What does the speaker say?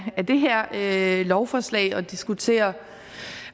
det her lovforslag at diskutere